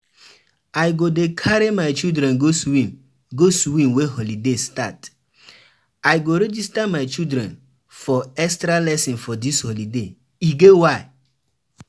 I go register my children for extra-lesson for dis holiday, e get why.